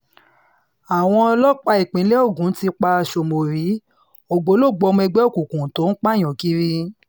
àwọn ọlọ́pàá ìpínlẹ̀ ogun ti pa sómórì ògbólógbòó ọmọ ẹgbẹ́ òkùnkùn tó ń pààyàn kiri